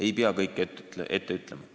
Ei pea kõike ette ütlema!